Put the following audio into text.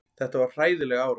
Þetta var hræðileg árás.